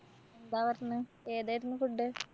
എന്താ പറഞ്ഞ്‌? ഏതായിരുന്നു food?